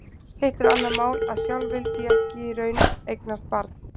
Hitt er annað mál að sjálf vildi ég ekki í raun eignast barn.